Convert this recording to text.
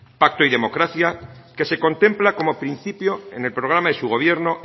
pacto y democracia que se contempla como principio en el programa de su gobierno